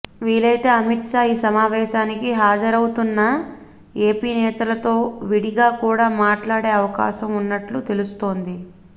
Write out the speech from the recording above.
వీలైతే అమిత్ షా ఈ సమావేశానికి హజరవుతున్న ఎపినేతలతో విడిగా కూడా మాట్లాడే అవకాశం ఉన్నట్లు తెలుస్తోంది